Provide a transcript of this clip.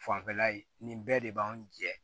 Fanfɛla ye nin bɛɛ de b'anw jɛ